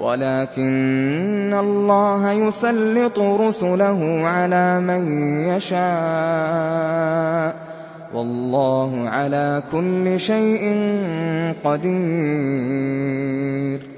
وَلَٰكِنَّ اللَّهَ يُسَلِّطُ رُسُلَهُ عَلَىٰ مَن يَشَاءُ ۚ وَاللَّهُ عَلَىٰ كُلِّ شَيْءٍ قَدِيرٌ